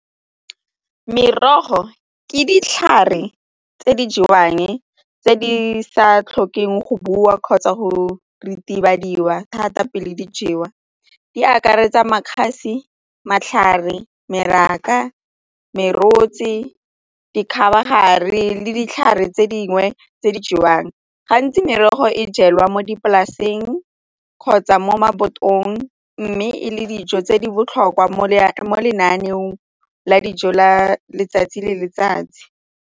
Merogo ke ditlhare tse di jewang, tse di sa tlhokeng go bua kgotsa go ritibadiwa thata pele di jewa di akaretsa makgabe, matlhare, merogo, dikgabagare le ditlhare tse dingwe tse di jewang gantsi merogo e jelwe mo dipolaseng kgotsa mo khabotong mme e le dijo tse di botlhokwa mo lenaneong la dijo la letsatsi le letsatsi.